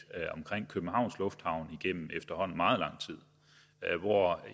om københavns lufthavn igennem efterhånden meget lang tid